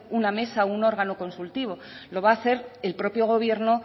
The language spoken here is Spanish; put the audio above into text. una mesa un órgano consultivo lo va a hacer el propio gobierno